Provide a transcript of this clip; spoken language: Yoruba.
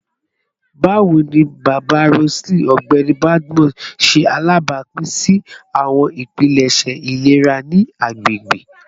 Bawo ni baba Roseline, Ọgbẹni Badmus, ṣe alabapin si awọn ipilẹṣẹ ilera ni agbegbe?